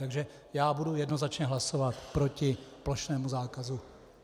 Takže já budu jednoznačně hlasovat proti plošnému zákazu.